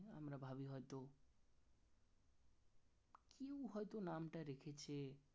একটু হয়তো নামটা রেখেছে